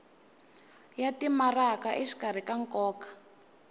ya timaraka exikarhi ka nkoka